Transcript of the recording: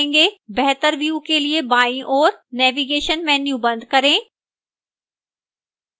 बेहतर view के लिए बाईं ओर navigation menu बंद करें